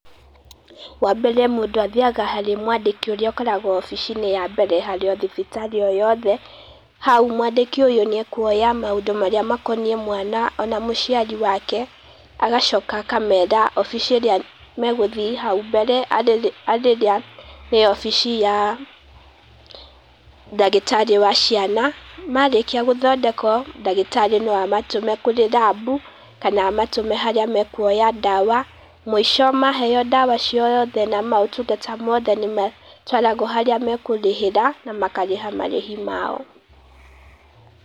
Wa mbere, mũndũ athiaga harĩ mwandĩki ũkoragwo obici-inĩ ya mbere harĩ oo thibitarĩ o yothe, haũ mwanĩiki ũyũ nĩ akuonya maũndũ makonĩe mwana ona mũciari wake, agacoka akamera obici ĩrĩa magũthĩe hau mbere arĩ arirĩ ĩrĩ obici ya ndagĩtarĩ wa ciana. Marĩkia gũthondekwo ndagĩtarĩ no amatũme kũrĩ rabũ kana amatũme harĩa makuoya ndawa, mwico maheo ndawa ciothe na mautugatha mothe nĩ matwaragwo harĩa makũrĩhĩra makarĩha marĩhi mao.